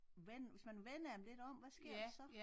Vend hvis man vender dem lidt om hvad sker der så?